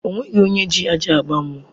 O nweghi onye ji ajị agba mụọ.